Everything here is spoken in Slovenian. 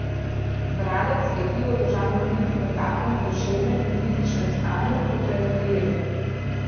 Bralec je knjigo dolžan vrniti v takem duševnem in fizičnem stanju, kot jo je prejel.